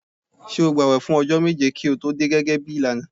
Ṣé o gbààwẹ̀ fún ọjọ́ méje kí o tó dé gẹ́gẹ́ bí ìlànà?